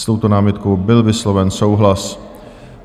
S touto námitkou byl vysloven souhlas.